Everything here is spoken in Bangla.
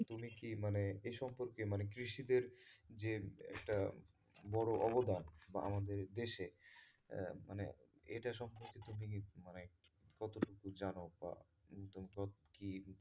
তুমি কি মানে এ সম্পর্কে মানে কৃষিদের যে একটা বড় অবদান বা আমাদের দেশে আহ মানে এটা সম্পর্কে তুমি কি মানে কতটুকু জানো বা